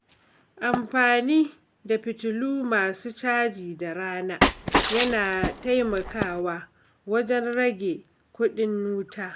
Amfani da fitilu masu caji da rana, yana taimakawa wajen rage kudin wuta.